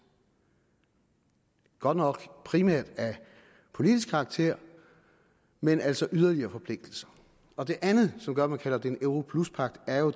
godt nok primært af politisk karakter men altså yderligere forpligtelser og det andet som gør at man kalder det en europluspagt er jo